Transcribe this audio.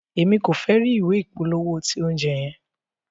Emi ko fẹ ri ìwé ìpolówó ti oúnjẹ yẹn.